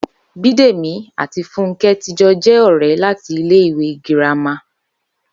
Bídèmí àti Fúnkẹ́ tí jọ jẹ́ ọ̀rẹ́ láti ilé ìwé girama